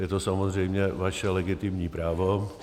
Je to samozřejmě vaše legitimní právo.